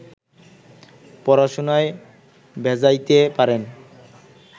পড়াশুনায় ভেজাইতে পারেন